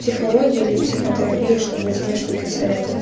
психология для психотерапии чтобы тебе что-то советовали